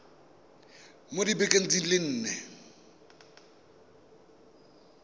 mo dibekeng di le nne